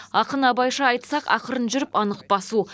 ақын абайша айтсақ ақырын жүріп анық басу